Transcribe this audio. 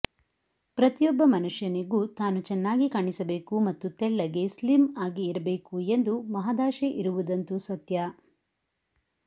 ಪ್ರತಿಯೊಬ್ಬ ಮನುಷ್ಯನಿಗೂ ತಾನು ಚೆನ್ನಾಗಿ ಕಾಣಿಸಬೇಕು ಮತ್ತು ತೆಳ್ಳಗೆ ಸ್ಲಿಮ್ ಆಗಿ ಇರಬೇಕು ಎಂದು ಮಹದಾಶೆ ಇರುವುದಂತೂ ಸತ್ಯ